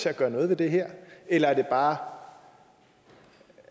at gøre noget ved det her eller er det bare for